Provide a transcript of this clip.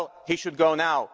Well, he should go now.